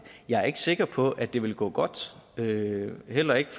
jeg er ikke sikker på at det ville gå godt heller ikke